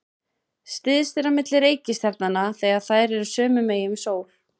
Styst er á milli reikistjarnanna þegar þær eru sömu megin við sól.